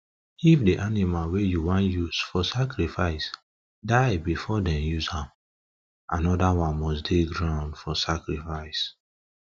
if the animal wey u wan use for sacrifice die before them use am another one must dey ground for sacrifice